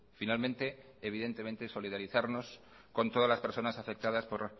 finalmente evidentemente solidarizarnos con todas las personas afectadas por